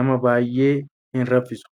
nama baay'ee hin raffisu.